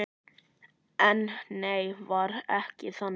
En nei, var ekki þannig.